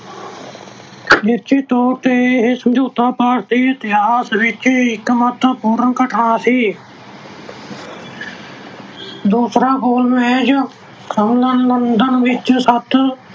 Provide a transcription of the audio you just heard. ਨਿਸ਼ਚਿਤ ਤੌਰ ਤੇ ਇਹ ਸਮਝੌਤਾ ਭਾਰਤ ਦੇ ਇਤਿਹਾਸ ਵਿੱਚ ਇੱਕ ਮਹੱਤਵਪੂਰਨ ਘਟਨਾ ਸੀ। ਦੂਸਰਾ ਗੋਲ ਮੇਜ ਸੰਮੇਲਨ ਲੰਡਨ ਵਿੱਚ ਸੱਤ